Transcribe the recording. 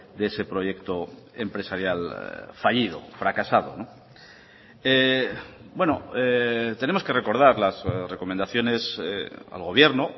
de ese proyecto empresarial fallido fracasado tenemos que recordar las recomendaciones al gobierno